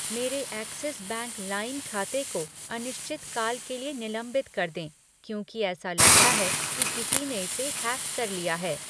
मेरे Axis bank लाइम खाते को अनिश्चित काल के लिए निलंबित कर दें क्योंकि ऐसा लगता है कि किसी ने इसे हैक कर लिया है।